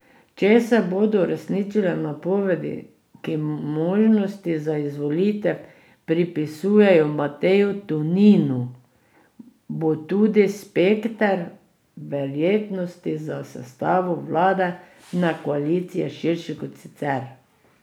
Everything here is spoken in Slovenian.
Če se bodo uresničile napovedi, ki možnosti za izvolitev pripisujejo Mateju Toninu, bo tudi spekter verjetnosti za sestavo vladne koalicije širši kot sicer.